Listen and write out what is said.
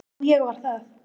Jú ég var það.